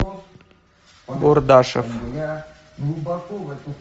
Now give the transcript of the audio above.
бурдашев